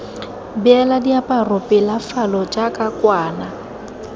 beela diaparo pelafalo jaaka kwana